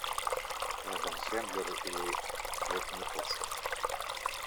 адам сэндлер и джек николсон